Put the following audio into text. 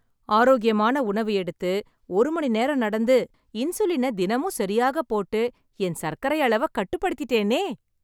ஆரோக்கியமான உணவு எடுத்து, ஒரு மணி நேரம் நடந்து, இன்சுலினை தினமும் சரியாக போட்டு, என் சர்க்கரை அளவை கட்டுப்படுத்திட்டேனே.